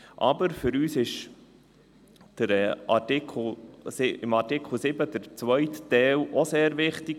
Aber für uns ist Artikel 7 Absatz 2 auch sehr wichtig: